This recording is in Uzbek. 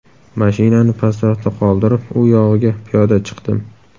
Mashinani pastroqda qoldirib, u yog‘iga piyoda chiqdim.